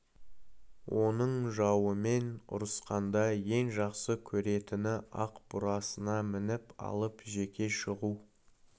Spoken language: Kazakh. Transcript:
оның жауымен ұрысқанда ең жақсы көретіні ақ бурасына мініп алып жеке шығу